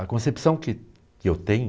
A concepção que que eu tenho...